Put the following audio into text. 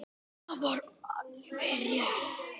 Og það var alveg rétt.